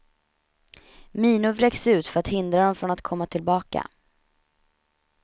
Minor vräks ut för att hindra dem från att komma tillbaka.